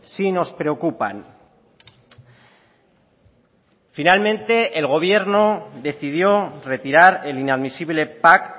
sí nos preocupan finalmente el gobierno decidió retirar el inadmisible pack